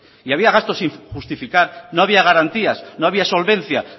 y había gastos sin justificar no había garantías no había solvencia